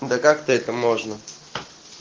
да как-то это можно